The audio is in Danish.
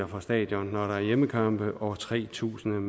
fra stadion når der er hjemmekampe og tre tusind